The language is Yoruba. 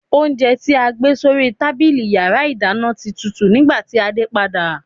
Oúnjẹ tí a gbé sórí tábìlì yàrá ìdáná ti tutù nígbàtí a dé padà.